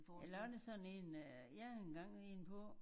Eller også så er det sådan en jeg havde engang en på